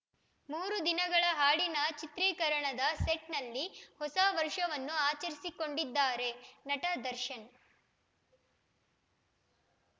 ಮೂರು ದಿನಗಳ ಹಾಡಿನ ಚಿತ್ರೀಕರಣದ ಸೆಟ್‌ನಲ್ಲಿ ಹೊಸ ವರ್ಷವನ್ನು ಆಚರಿಸಿಕೊಂಡಿದ್ದಾರೆ ನಟ ದರ್ಶನ್‌